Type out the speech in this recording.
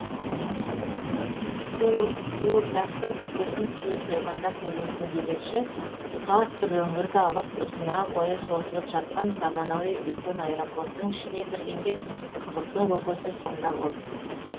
қуырдақтың көкесін түйе сойғанда көресің демекші тұтас бір өңірді алып ұзына бойы созылып жатқан заманауи үлкен аэропорттың ішіне кіргенде қызықтың көкесі сонда болды